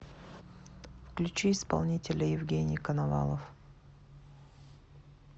включи исполнителя евгений коновалов